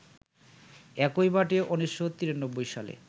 একই মাঠে ১৯৯৩ সালে